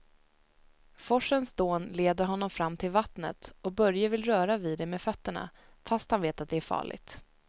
Forsens dån leder honom fram till vattnet och Börje vill röra vid det med fötterna, fast han vet att det är farligt.